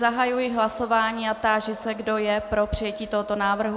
Zahajuji hlasování a táži se, kdo je pro přijetí tohoto návrhu.